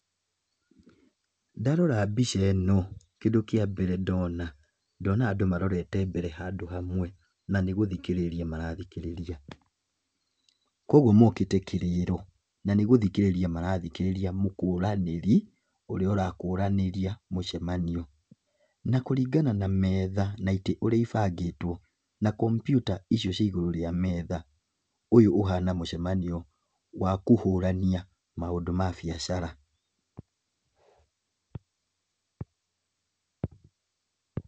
Ndarora mbica ĩno kĩndũ kĩa mbere ndona, ndona andũ marorete mbere handũ hamwe na nĩgũthikĩrĩria marathikĩrĩria. Kũguo mokĩte kĩrĩĩro na nĩgũthikĩrĩria marathikĩrĩria mũkũranĩri ũrĩa ũrakũranĩria mũcemanio. Na kũringana na metha na itĩ ũrĩa ibangĩtwo, na kambyuta icio ciĩ igũrũ wa metha ũyũ ũhana mũcemanio wa kũhũrania maũndũ ma biacara.